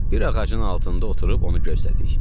Bir ağacın altında oturub onu gözlədik.